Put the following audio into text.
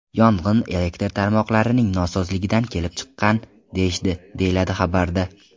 Yong‘in elektr tarmoqlarining nosozligidan kelib chiqqan deyishdi”, deyiladi xabarda.